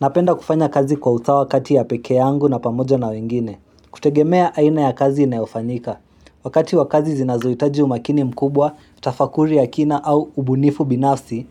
Napenda kufanya kazi kwa usawa kati ya pekee yangu na pamoja na wengine kutegemea aina ya kazi inayofanyika Wakati wakazi zinazoitaji umakini mkubwa, tafakuri ya kina au ubunifu binafsi